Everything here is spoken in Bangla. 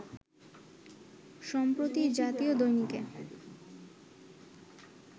সম্প্রতি জাতীয় দৈনিকে